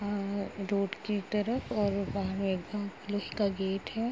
अं road के तरफ और बाहर एक ब्राउन कलर गेट है।